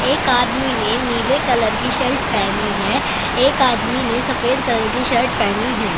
एक आदमी ने नीले कलर की सल्ट पहनी है। एक आदमी ने सफेद कलर की शर्ट पहनी है।